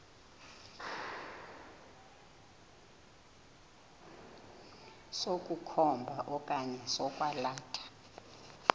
sokukhomba okanye sokwalatha